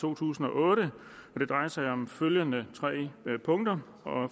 to tusind og otte det drejer sig om følgende tre punkter for